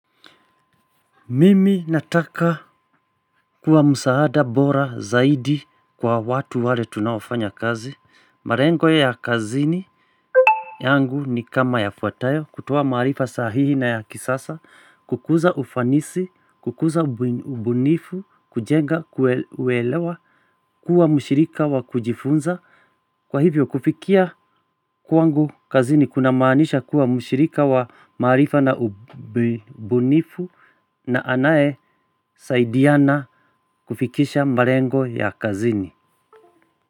Mimi nataka, kuwa msaada bora zaidi kwa watu wale tunaofanya kazi. Malengo ya kazini, yangu ni kama yafuatayo, kutoa maarifa sahihi na yakisasa, kukuza ufanisi, kukuza ubunifu, kujenga, kuelewa, kuwa mshirika wa kujifunza. Kwa hivyo kufikia, kwangu kazini, kunamaanisha kuwa mshirika wa maarifa na ubunifu. Na anaye, saidiana, kufikisha malengo ya kazini.